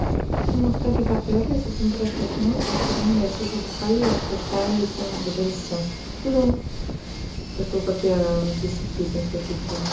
и мы в итоге попёрлись и тим просто уснул и за вторым я сижу бухаю и обсуждаю тему бдсм ну после того как я десять песен своих включила